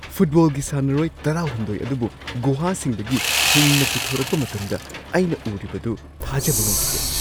ꯐꯨꯠꯕꯣꯜꯒꯤ ꯁꯥꯟꯅꯔꯣꯏ ꯱꯳ ꯑꯗꯨꯕꯨ ꯒꯨꯍꯥꯁꯤꯡꯗꯒꯤ ꯍꯤꯡꯅ ꯄꯨꯊꯣꯔꯛꯄ ꯃꯇꯝꯗ ꯑꯩꯅ ꯎꯔꯤꯕꯗꯨ ꯊꯥꯖꯕ ꯉꯝꯈꯤꯗꯦ ꯫